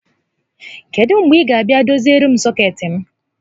Kedụ mgbe ị ga abịa doziere m sọkeetị m?